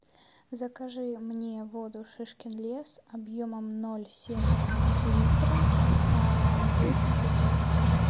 закажи мне воду шишкин лес объемом ноль семь литра десять бутылок